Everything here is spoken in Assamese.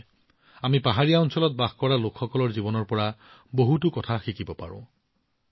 দৰাচলতে আমি পাহাৰত বাস কৰা লোকসকলৰ জীৱনৰ পৰা বহুতো শিকিব পাৰোঁ